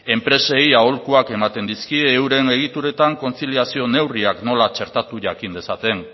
enpresei aholkuak ematen dizkie euren egituretan kontziliazio neurriak nola txertatu jakin dezaten